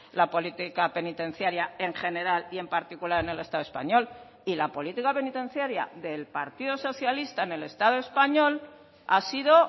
la política penitenciaria en general y en particular en el estado español y la política penitenciaria del partido socialista en el estado español ha sido